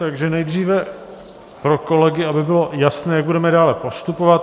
Takže nejdříve pro kolegy, aby bylo jasné, jak budeme dále postupovat.